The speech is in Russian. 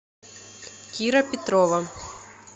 кира петрова